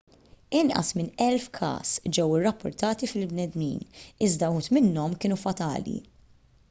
inqas minn elf każ ġew irrappurtati fil-bnedmin iżda wħud minnhom kienu fatali